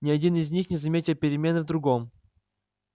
ни один из них не заметил перемены в другом